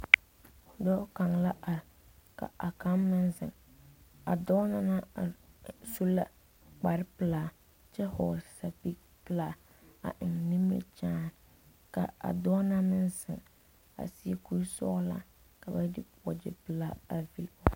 Dɔɔ kaŋ la are ka a kaŋ meŋ zeŋ a dɔɔ na naŋ are su la kpare pelaa kyɛ vɔgle sapili pelaa a eŋ nimikyaani ka a dɔɔ na naŋ zeŋ a seɛ kuri sɔglaa ka ba de waagyɛ pelaa pillage.